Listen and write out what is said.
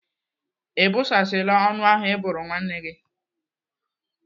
Ị bụsasiala ọnụ ahụ Ị bụrụ nwa gị?